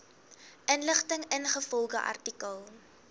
inligting ingevolge artikel